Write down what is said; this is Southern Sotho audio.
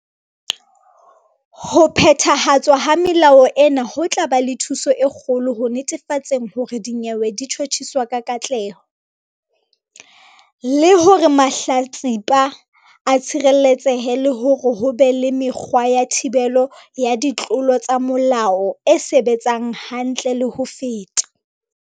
"Ho phethahatswa ha melao ena ho tla ba le thuso e kgolo ho netefatseng hore dinyewe di tjhotjhiswa ka katleho, le hore mahlatsipa a tshireletsehe le hore ho be le mekgwa ya thibelo ya ditlolo tsa molao e sebetsang hantle le ho feta."